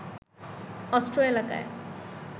অন্ত্র এলাকায়